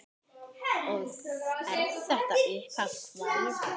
Og er þetta upphaf kvæðis: